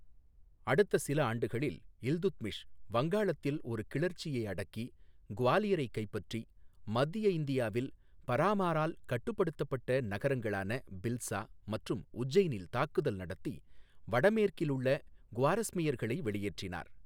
அடுத்த சில ஆண்டுகளில், இல்துத்மிஷ் வங்காளத்தில் ஒரு கிளர்ச்சியை அடக்கி, குவாலியரைக் கைப்பற்றி, மத்திய இந்தியாவில் பரமாரால் கட்டுப்படுத்தப்பட்ட நகரங்களான பில்ஸா மற்றும் உஜ்ஜைனில் தாக்குதல் நடத்தி, வடமேற்கில் உள்ள குவாரஸ்மியர்களை வெளியேற்றினார்.